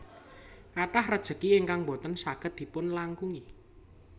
Kathah rejeki ingkang boten saged dipun langkungi